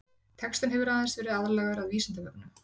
textinn hefur aðeins verið aðlagaður að vísindavefnum